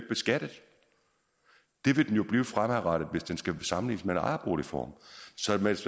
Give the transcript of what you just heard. beskattet det vil den blive fremadrettet hvis den skal sammenlignes med ejerboligformen så hvis